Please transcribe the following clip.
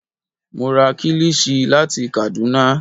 Mo ra kílìṣí láti Kàdúná